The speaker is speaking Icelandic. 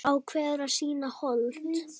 Ákveður að sýna hold.